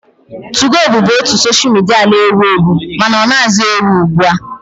2go bụbu otu soshal midia na-ewu ewu mana ọ naghịzi ewu ugbu a